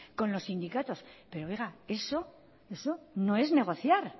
con los sindicatos pero oiga eso no es negociar